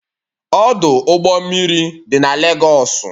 Ọdụ ụgbọ mmiri dị na Legosu